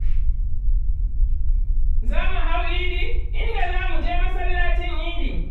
Za mu hau idi, inda za mu je masallacin idi.